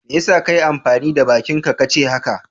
Me ya sa ka yi amfani da bakinka ka ce haka?